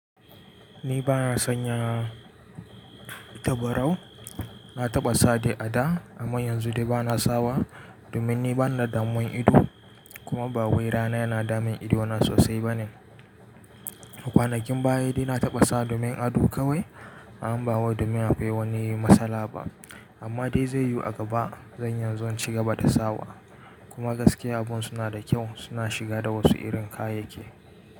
Ni bana sanya tabarau. Na taɓa sa dai a da amma yanzu dai bana sawa domin ni bana da damuwan ido kuma ba wai rana yana damun ido na sosai bane. A kwanakin baya dai na taɓa sawa domin ado kawai amma ba wai domin akwai wani matsala ba. Amma dai zai yiwu a gaba zan iya inzo cigaba sawa kuma gaskiya abun suna da kyau suna shiga da wasu irin kayayyaki.